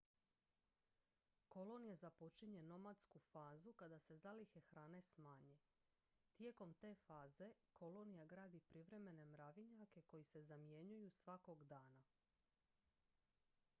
kolonija započinje nomadsku fazu kada se zalihe hrane smanje tijekom te faze kolonija gradi privremene mravinjake koji se zamjenjuju svakog dana